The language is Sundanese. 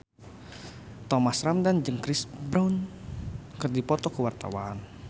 Thomas Ramdhan jeung Chris Brown keur dipoto ku wartawan